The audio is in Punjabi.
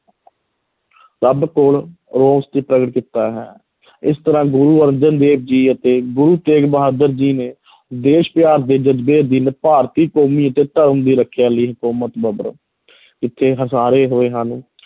ਰੱਬ ਕੋਲ ਰੋਸ 'ਚ ਪ੍ਰਗਟ ਕੀਤਾ ਹੈ ਇਸ ਤਰ੍ਹਾਂ ਗੁਰੂ ਅਰਜਨ ਦੇਵ ਜੀ ਅਤੇ ਗੁਰੂ ਤੇਗ ਬਹਾਦਰ ਜੀ ਨੇ ਦੇਸ਼ ਪਿਆਰ ਦੇ ਜ਼ਜਬੇ ਅਧੀਨ ਭਾਰਤੀ ਕੌਮੀ ਅਤੇ ਧਰਮ ਦੀ ਰੱਖਿਆ ਲਈ ਹਕੂਮਤ ਜਬਰ ਜਿੱਥੇ ਹੋਏ ਹਨ